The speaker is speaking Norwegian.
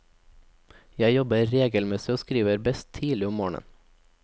Jeg jobber regelmessig og skriver best tidlig om morgenen.